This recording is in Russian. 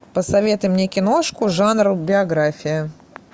посоветуй мне киношку жанр биография